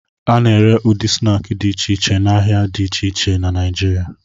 A na-ere ụdị snaakị dị iche iche n'ahịa dị iche iche na Naijiria.